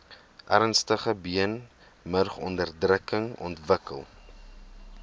ernstige beenmurgonderdrukking ontwikkel